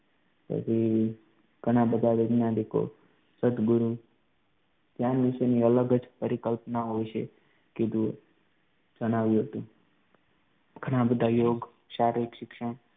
પછી ઘણા બધા વૈજ્ઞાનિકો સતગુરુ ધ્યાન વિશેની અલગ જ પરિકલ્પનાઓ છે કીધું એમ જણાવ્યું હતું ઘણા બધા યોગ, શારીરિક શિક્ષણ